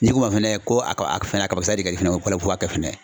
N'i k'o wa fɛnɛ ko a ka fɛnɛ ka kabakisɛ de ka di fɛnɛ ye ko ba kɛ fila ye.